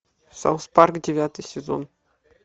саус парк девятый сезон